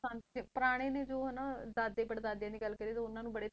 ਹਾਂਜੀ ਪੁਰਾਣੇ ਨੇ ਜੋ ਹਨਾ ਦਾਦੇ ਪੜਦਾਦਿਆਂ ਦੀ ਗੱਲ ਕਰੀਏ ਤਾਂ ਉਹਨਾਂ ਨੂੰ ਬੜੇ